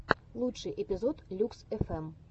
лучший эпизод люкс фм